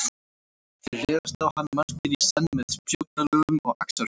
Þeir réðust á hann margir í senn með spjótalögum og axarhöggum.